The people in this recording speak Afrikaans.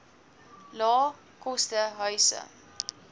lae koste huise